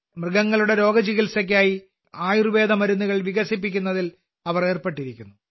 മൃഗങ്ങളുടെ രോഗങ്ങളുടെ ചികിത്സയ്ക്കായി ആയുർവേദമരുന്നുകൾ വികസിപ്പിക്കുന്നതിൽ അവർ ഏർപ്പെട്ടിരിക്കുന്നു